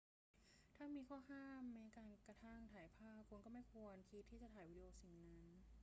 ถ้ามีข้อห้ามแม้กระทั่งการถ่ายภาพ คุณก็ไม่ควรคิดที่จะถ่ายวิดีโอสิ่งนั้น